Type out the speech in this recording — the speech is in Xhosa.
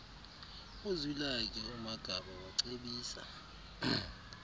uzwilakhe umagaba wacebisa